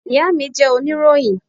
Ìyá mi jẹ́ oníròyìn.